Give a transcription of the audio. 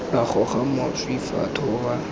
lwa goga mašwi fa thoba